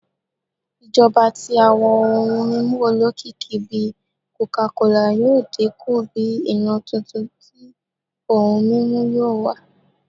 Ijọba ti awọn ohun mimu olokiki bi coca cola yoo dinku bi iran tuntun ti ohun mimu yoo wa